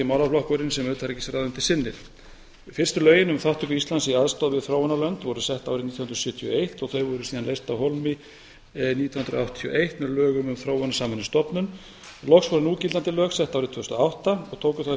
málaflokkurinn sem utanríkisráðuneytið sinnir fyrstu lögin um þátttöku íslands í aðstoð við þróunarlönd voru sett árið nítján hundruð sjötíu og eitt þau voru síðan leyst af hólmi nítján hundruð áttatíu og eitt með lögum um þróunarsamvinnustofnun loks voru núgildandi lög sett árið tvö þúsund og átta og tóku þá í